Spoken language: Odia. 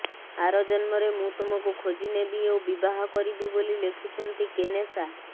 ଆର ଜନ୍ମରେ ମୁଁ ତୁମକୁ ଖୋଜି ନେବି ଓ ବିବାହ କରିବି ବୋଲି ଲେଖିଛନ୍ତି କେନେସା